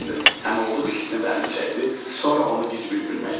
Əmioğlu diksindi bəlini çəkdi, sonra onu gic bir gülmək tutdu.